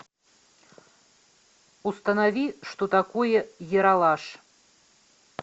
установи что такое ералаш